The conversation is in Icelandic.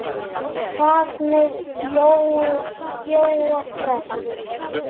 Hvað með Jóa fress?